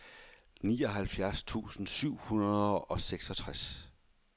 nioghalvfjerds tusind syv hundrede og seksogtres